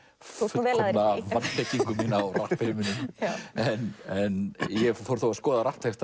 fullkomna vanþekkingu mína á rappheiminum en ég fór að skoða